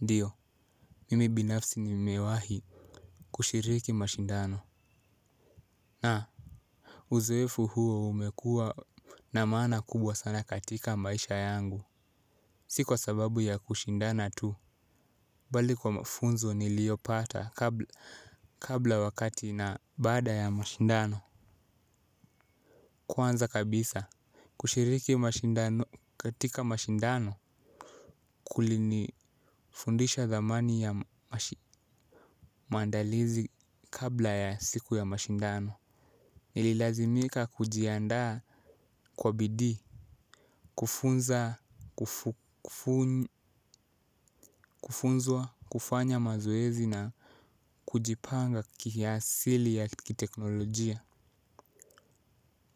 Ndiyo, mimi binafsi ni mimewahi kushiriki mashindano. Na uzoefu huo umekuwa na maana kubwa katika maisha yangu. Sikwa sababu ya kushindana tu. Bali kwa mafunzo nilio pata kabla wakati na baada ya mashindano. Kwanza kabisa. Kushiriki mashindano katika mashindano. Kuli ni fundisha zamani ya mandalizi kabla ya siku ya mashindano. Nililazimika kujiandaa kwa bidii kufunzwa kufanya mazoezi na kujipanga kiasili ya kiteknolojia.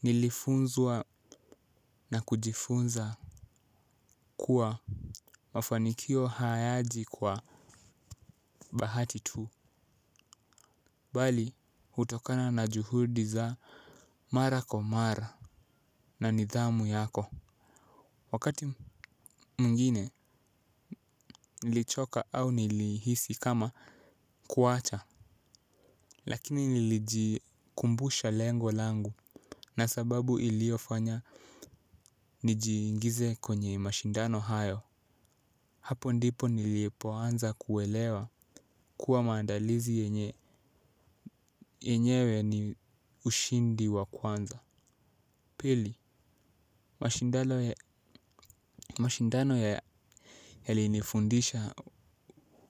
Nilifunzwa na kujifunza kuwa mafanikio hayaji kwa bahati tu. Bali utokana na juhudi za mara kwa mara na nidhamu yako. Wakati mwingine nilichoka au nilihisi kama kuacha. Lakini nilijikumbusha lengo langu. Na sababu iliofanya nijingize kwenye mashindano hayo. Hapo ndipo nilipo anza kuelewa kuwa maandalizi yenyewe ni ushindi wa kwanza. Pili mashindano ya hali nifundisha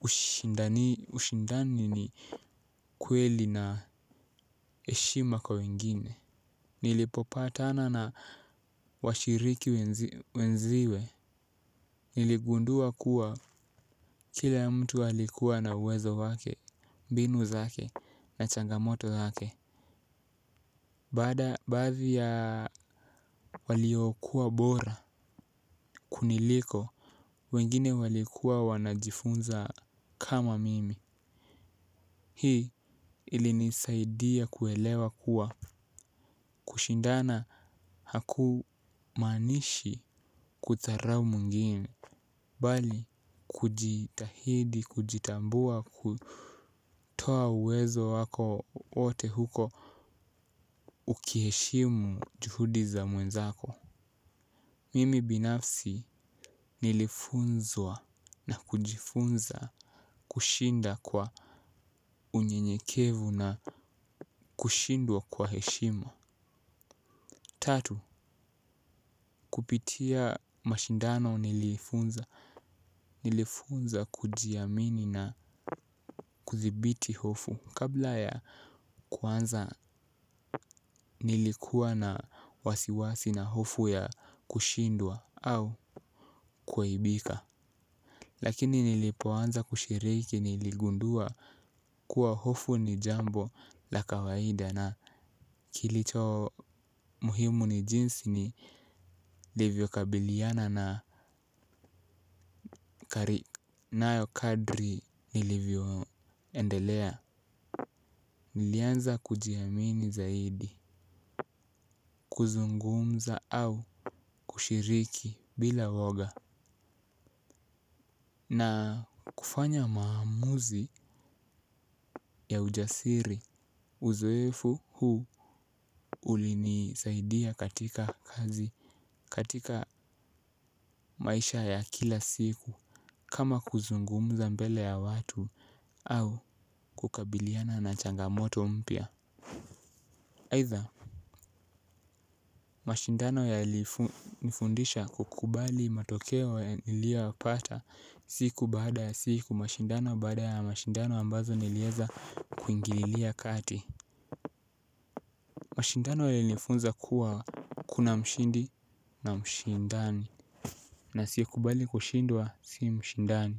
ushindani ni kweli na eshima kwa wengine. Nilipopatana na washiriki wenziwe. Niligundua kuwa kila mtu walikuwa na uwezo wake, mbinu zake na changamoto zake. Baada baadhi ya waliyokuwa bora kuniliko, wengine walikuwa wanajifunza kama mimi. Hii ilinisaidia kuelewa kuwa kushindana hakumaanishi kuzarau mwengine bali kujitahidi kujitambua kutoa uwezo wako ote huko ukiheshimu juhudi za mwenzako. Mimi binafsi nilifunzwa na kujifunza kushinda kwa unyenyekevu na kushindwa kwa heshima. Tatu, kupitia mashindano nilifunza kujiamini na kuzibiti hofu kabla ya kuanza nilikuwa na wasiwasi na hofu ya kushindwa au kuaibika. Lakini nilipoanza kushiriki niligundua kuwa hofu ni jambo la kawaida na kilicho muhimu ni jinsi ni livyo kabiliana na kari. Nayo kadri nilivyo endelea. Nilianza kujiamini zaidi, kuzungumza au kushiriki bila uwoga na kufanya maamuzi ya ujasiri uzoefu huu ulinisaidia katika kazi katika maisha ya kila siku kama kuzungumza mbele ya watu au kukabiliana na changamoto mpya aidha mashindano yali nifundisha kukubali matokeo ya nilio wapata siku baada ya siku mashindano bada ya mashindano ambazo nilieza kuingililia kati. Mashindano yalinifunza kuwa kuna mshindi na mshindani. Na asie kubali kushindwa si mshindani.